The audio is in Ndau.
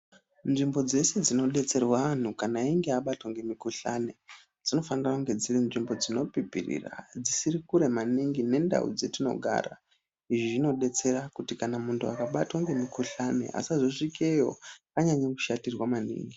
Nzvimbo dzese dzinobetserwa anhu kana ainge abatwa ngemikohlani dzinofanira kunge dziri nzvimbo dzinopipirira dzisiri kure maningi nendau dzatinogara. Izvi zvinobetsera kuti kana muntu akabatwa nemukohlani asazosvikeyo anyanya kushatirwa maningi.